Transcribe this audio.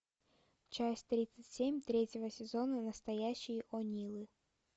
часть тридцать семь третьего сезона настоящие онилы